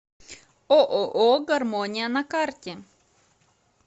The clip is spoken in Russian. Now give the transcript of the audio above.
ооо гармония на карте